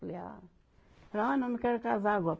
Falei, ah, ah não, não quero casar agora.